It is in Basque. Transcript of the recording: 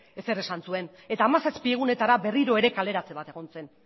zer esan zuen eta hamazazpi egunetara berriro ere kaleratze bat egon zen